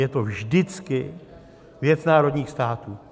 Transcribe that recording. Je to vždycky věc národních států.